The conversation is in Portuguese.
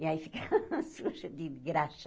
E aí ficava suja de graxa.